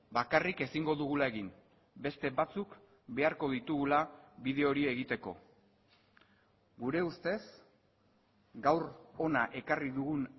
bakarrik ezingo dugula egin beste batzuk beharko ditugula bide hori egiteko gure ustez gaur hona ekarri dugun